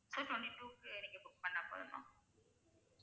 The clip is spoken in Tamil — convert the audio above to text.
So twenty two க்கு நீங்க book பண்ணா போதும் ma'am